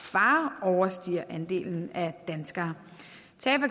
far overstiger andelen af danskere